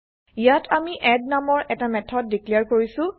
ইয়াত আমি এড নামৰ এটা মেথড দিক্লেয়াৰ160 কৰিছো